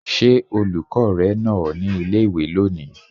Ṣé olùkọ́ rẹ nà ọ ní ilé-ìwé lónìí?